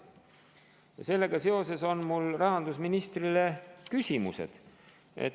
Sellega seoses on mul rahandusministrile küsimused.